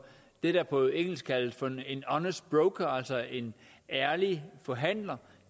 det der er på engelsk kaldes for en honest broker altså en ærlig forhandler